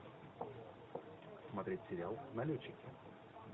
смотреть сериал налетчики